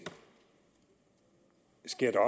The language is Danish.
sker der